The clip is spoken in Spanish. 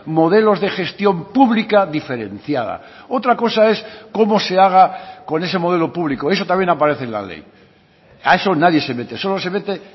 modelos de gestión pública diferenciada otra cosa es cómo se haga con ese modelo público eso también aparece en la ley a eso nadie se mete solo se mete